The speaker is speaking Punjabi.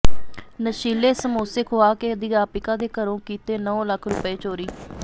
ਨਸ਼ੀਲੇ ਸਮੋਸੇ ਖੁਆ ਕੇ ਅਧਿਆਪਕਾ ਦੇ ਘਰੋਂ ਕੀਤੇ ਨੌਂ ਲੱਖ ਰੁਪਏ ਚੋਰੀ